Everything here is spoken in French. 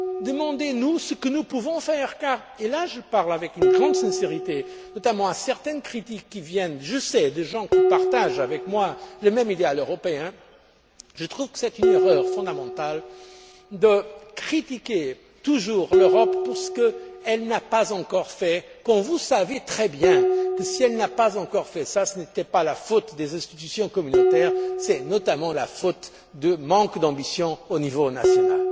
Demandez nous ce que nous pouvons faire car et là je parle avec une grande sincérité à propos notamment de certaines critiques qui viennent, je le sais, de personnes qui partagent avec moi le même idéal européen je trouve que c'est une erreur fondamentale que de critiquer toujours l'Europe pour ce qu'elle n'a pas encore fait, alors que vous savez très bien que, si elle ne l'a pas encore fait, ce n'est pas la faute des institutions communautaires, c'est notamment la faute d'un manque d'ambition au niveau